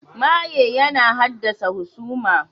Maye yana haddasa husama.